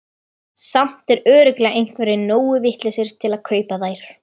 Samt eru örugglega einhverjir nógu vitlausir til að kaupa þær.